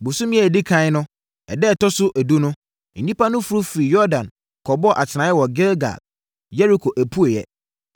Bosome a ɛdi ɛkan no ɛda ɛtɔ so edu no nnipa no foro firii Yordan kɔbɔɔ atenaeɛ wɔ Gilgal, Yeriko apueeɛ.